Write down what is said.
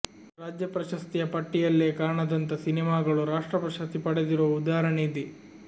ರಾಜ್ಯ ಪ್ರಶಸ್ತಿಯ ಪಟ್ಟಿಯಲ್ಲೇ ಕಾಣದಂಥ ಸಿನಿಮಾಗಳು ರಾಷ್ಟ್ರ ಪ್ರಶಸ್ತಿ ಪಡೆದಿರುವ ಉದಾಹರಣೆಯಿದೆ